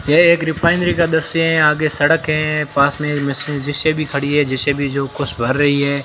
यह एक रिफाइनरी दृश्य है। यहां की सड़क है। पास में एक जे_सी_बी खड़ी है। जे_सी_बी जो कुछ भर रही है।